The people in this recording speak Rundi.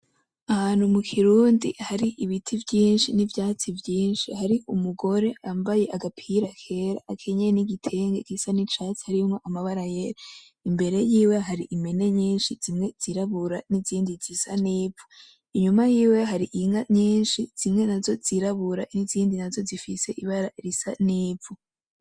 Ahantu mukirundi hari ibiti vyinshi, nivyatsi vyinshi, hari umugore yambaye agapira kera, akenyeye nigitenge gisa nicatsi harimwo amabara yera. Imbere yiwe hariho impene nyinshi, zimwe zirabura, nizindi zisa nivu. Inyuma yiwe hari inka nyinshi zimwe nazo zirabura, nizindi nazo zifise ibara risa nivu.